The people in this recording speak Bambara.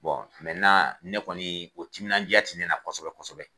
Bɔn mɛntenan o timinanja ti ne la kosɛbɛ kosɛbɛ